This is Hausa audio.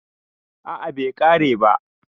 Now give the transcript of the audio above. a a Bai kare ba